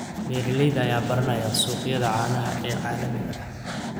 Beeralayda ayaa baranaya suuqyada caanaha ee caalamiga ah.